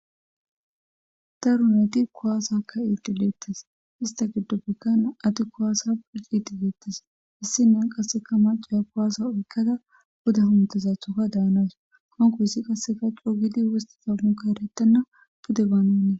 Tarun eti kowaasakka iitileettes ista giddoppekkana ati kowaasa pucitileettes issinen qasseka macaya kowaasa oykkada buda huntezathoka daanas hanko hissi qasse gacco gidi wosti zamuka erattenna pude baananii,